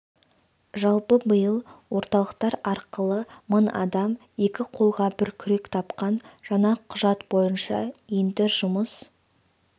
жалпы биыл орталықтар арқылы мың адам екі қолға бір күрек тапқан жаңа құжат бойынша енді жұмыс